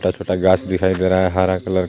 छोटा छोटा घास दिखाई दे रहा हे हरा कलर --